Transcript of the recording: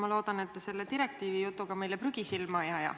Ma loodan, et te selle direkiivijutuga meile prügi silma ei aja.